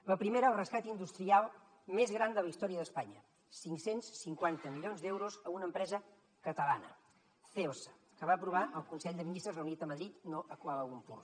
la primera el rescat industrial més gran de la història d’espanya cinc cents i cinquanta milions d’euros a una empresa catalana celsa que va aprovar el consell de ministres reunit a madrid no a kuala lumpur